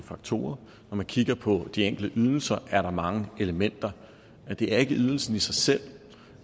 faktorer når man kigger på de enkelte ydelser er der mange elementer det er ikke ydelsen i sig selv